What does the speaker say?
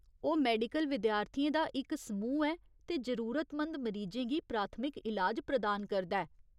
ओह् मैडिकल विद्यार्थियें दा इक समूह् ऐ ते जरूरतमंद मरीजें गी प्राथमिक ईलाज प्रदान करदा ऐ।